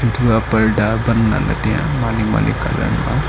thu aa parda pan ley la tai ya ma le ma le colour ma.